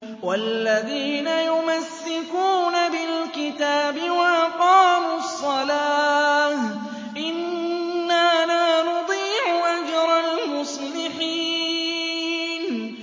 وَالَّذِينَ يُمَسِّكُونَ بِالْكِتَابِ وَأَقَامُوا الصَّلَاةَ إِنَّا لَا نُضِيعُ أَجْرَ الْمُصْلِحِينَ